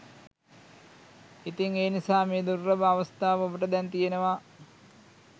ඉතින් ඒ නිසා මේ දුර්ලභ අවස්ථාව ඔබට දැන් තියෙනවා